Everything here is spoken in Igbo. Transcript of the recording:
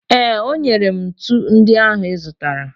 Ee, o nyere m ntu ndị ahụ ị zụtara.